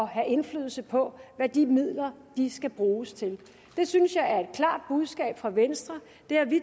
have indflydelse på hvad de midler skal bruges til det synes jeg er et klart budskab fra venstre det har vi